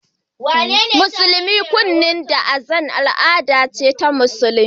Musulmi rada Azan a cikin kunnen jariri al'ada ce ta Musulunci